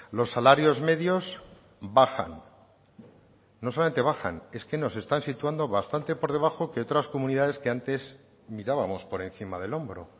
los salarios medios bajan no solamente bajan es que nos están situando bastante por debajo que otras comunidades que antes mirábamos por encima del hombro